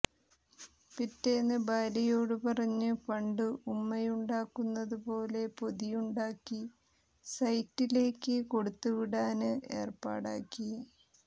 പിറ്റേന്ന് ഭാര്യയോട് പറഞ്ഞ് പണ്ട് ഉമ്മയുണ്ടാക്കുന്നതുപോലെ പൊതിയുണ്ടാക്കി സെറ്റിലേയ്ക്ക് കൊടുത്തുവിടാന് ഏര്പ്പാടാക്കി